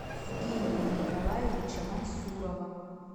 евгения николаевича мансурова